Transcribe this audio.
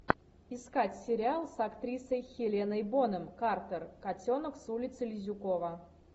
искать сериал с актрисой хеленой бонем картер котенок с улицы лизюкова